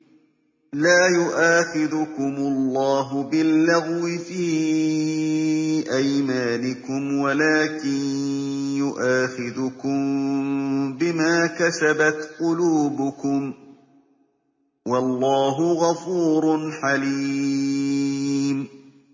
لَّا يُؤَاخِذُكُمُ اللَّهُ بِاللَّغْوِ فِي أَيْمَانِكُمْ وَلَٰكِن يُؤَاخِذُكُم بِمَا كَسَبَتْ قُلُوبُكُمْ ۗ وَاللَّهُ غَفُورٌ حَلِيمٌ